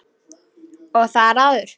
Og þar áður?